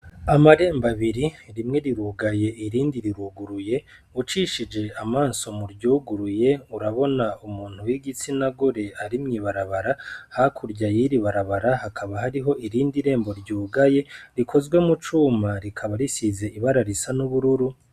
Amarembo abiri rimwe rirugaye irindi riruguruye ucishuje amaso mu ryugurye urabona umuntu wi gitsina gore ari mw'ibarabara hakurya yiri barabara hakaba harihiho irindi rembo ryugaye rikozwe mu cuma rikaba risize ibara n'ubururu.